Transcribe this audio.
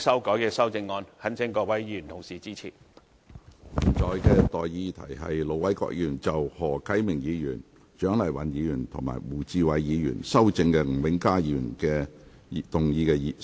我現在向各位提出的待議議題是：盧偉國議員就經何啟明議員、蔣麗芸議員及胡志偉議員修正的吳永嘉議員議案動議的修正案，予以通過。